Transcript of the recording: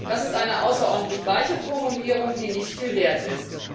Das ist eine außerordentlich weiche Formulierung, die nicht viel wert ist.